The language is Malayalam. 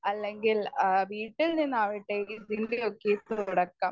സ്പീക്കർ 1 അല്ലെങ്കിൽ വീട്ടിൽ നിന്നാകട്ടെ തുടക്കം.